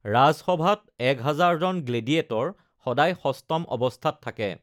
ৰাজসভাত এক হাজাৰজন গ্লেডিয়েটৰ সদায় সষ্টম অৱস্থাত থাকে।